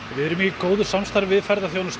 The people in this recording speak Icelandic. við erum í góðu sambandi við ferðaþjónustu